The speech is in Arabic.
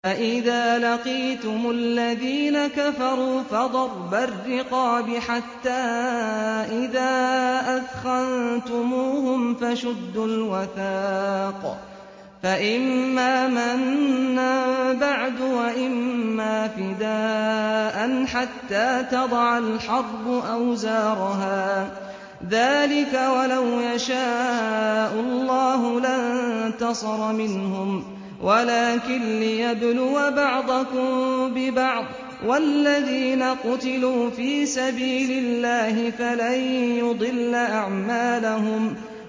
فَإِذَا لَقِيتُمُ الَّذِينَ كَفَرُوا فَضَرْبَ الرِّقَابِ حَتَّىٰ إِذَا أَثْخَنتُمُوهُمْ فَشُدُّوا الْوَثَاقَ فَإِمَّا مَنًّا بَعْدُ وَإِمَّا فِدَاءً حَتَّىٰ تَضَعَ الْحَرْبُ أَوْزَارَهَا ۚ ذَٰلِكَ وَلَوْ يَشَاءُ اللَّهُ لَانتَصَرَ مِنْهُمْ وَلَٰكِن لِّيَبْلُوَ بَعْضَكُم بِبَعْضٍ ۗ وَالَّذِينَ قُتِلُوا فِي سَبِيلِ اللَّهِ فَلَن يُضِلَّ أَعْمَالَهُمْ